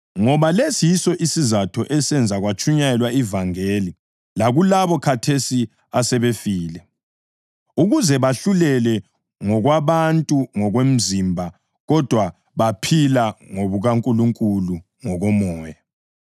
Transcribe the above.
Ngoba lesi yiso isizatho esenza kwatshunyayelwa ivangeli lakulabo khathesi asebefile, ukuze bahlulelwe ngokwabantu ngokomzimba, kodwa baphile ngokukaNkulunkulu ngokomoya.